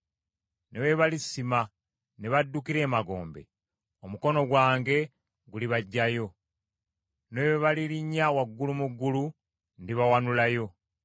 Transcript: Ne bwe balisima ne baddukira emagombe, omukono gwange gulibaggyayo. Ne bwe balirinnya waggulu mu ggulu ndibawanulayo.